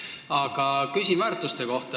Aga ma küsin väärtuste kohta.